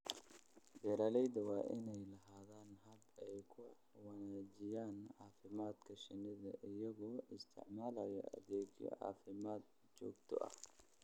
Beeralayda waa inay lahaadaan habab ay ku wanaajiyaan caafimaadka shinnida iyagoo isticmaalaya adeegyo caafimaad oo joogto ah.